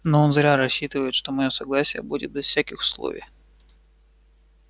но он зря рассчитывает что моё согласие будет без всяких условий